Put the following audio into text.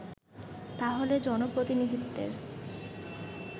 তাহলে জনপ্রতিনিধিত্বের